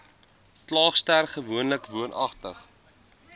klaagster gewoonlik woonagtig